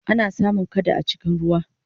ana samun kada a cikin ruwa